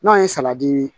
N'a ye